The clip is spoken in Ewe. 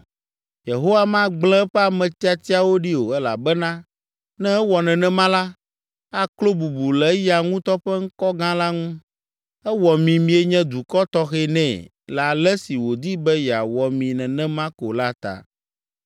Yehowa magblẽ eƒe ame tiatiawo ɖi o elabena ne ewɔ nenema la, aklo bubu le eya ŋutɔ ƒe ŋkɔ gã la ŋu. Ewɔ mi mienye dukɔ tɔxɛ nɛ le ale si wòdi be yeawɔ mi nenema ko la ta!